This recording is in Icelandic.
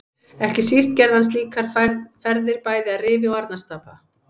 Ekki síst gerði hann slíkar ferðir bæði að Rifi og Arnarstapa.